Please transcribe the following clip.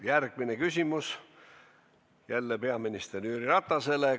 Järgmine küsimus on samuti peaminister Jüri Ratasele.